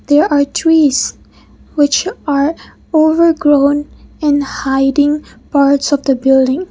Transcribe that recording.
there are trees which are over grown and hiding parts of the building.